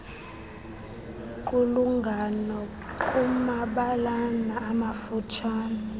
qulungano kuumabalana amafutshane